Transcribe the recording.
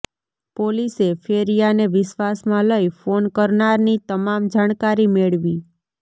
પોલીસે ફેરિયાને વિશ્વાસમાં લઈ ફોન કરનારની તમામ જાણકારી મેળવી